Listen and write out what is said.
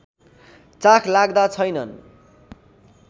चाखलाग्दा छैनन्